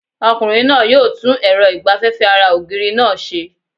Ọkùnrin náà yóò tún èrọ ìgbaféfé ara ògiri náà se